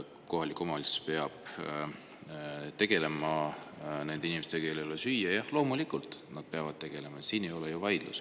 Kohalik omavalitsus peab tegelema nende inimestega, kellel ei ole süüa – jah, loomulikult nad peavad tegelema, siin ei ole ju vaidlust.